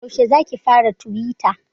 Yaushe zaki fara tuwita?